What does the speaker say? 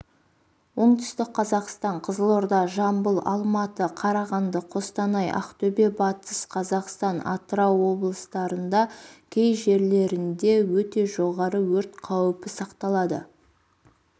оңтүстік қазақстан қызылорда жамбыл алматы қарағанды қостанай ақтөбе батыс қазақстан атырау облыстарында кей жерлерінде өте жоғары өрт қаупі сақталады